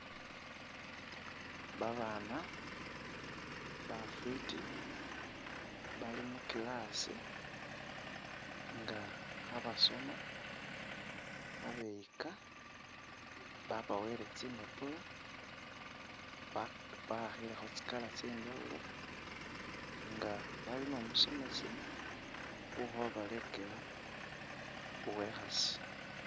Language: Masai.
Babaana bafwiti bali mu class nga khabasoma khabeyika, babawele tsimbapula ba'akhilekho tsi colour tsye injawulo nga bali ni umusomesi ukhobalekela uwe'khasi.